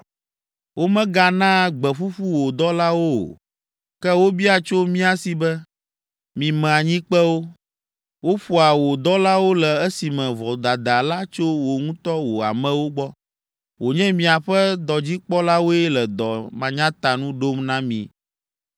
Womeganaa gbe ƒuƒu wò dɔlawo o, ke wobia tso mía si be, ‘Mime anyikpewo!’ Woƒoa wò dɔlawo le esime vodada la tso wò ŋutɔ wò amewo gbɔ, wònye miaƒe dɔdzikpɔlawoe le dɔ manyatanu ɖom na mí.”